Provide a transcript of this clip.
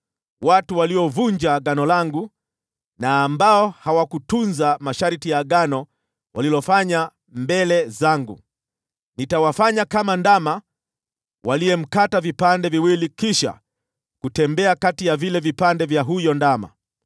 Watu waliovunja agano langu, na ambao hawakutunza masharti ya agano walilofanya mbele zangu, nitawafanya kama ndama waliyemkata vipande viwili, kisha wakatembea kati ya vile vipande vya huyo ndama.